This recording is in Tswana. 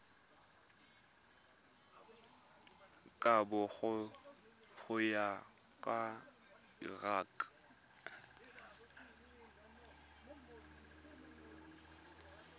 kabo go ya ka lrad